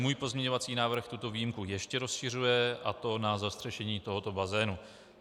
Můj pozměňovací návrh tuto výjimku ještě rozšiřuje, a to na zastřešení tohoto bazénu.